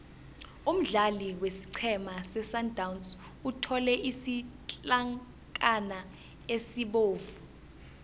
umdlali wesiqhema sesundowns uthole isitlankana esibovu